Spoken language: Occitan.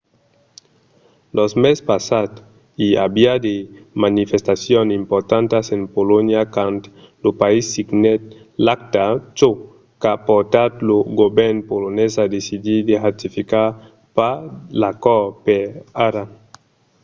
lo mes passat i aviá de manifestacions importantas en polonha quand lo país signèt l'acta çò qu'a portat lo govèrn polonés a decidir de ratificar pas l'acòrd per ara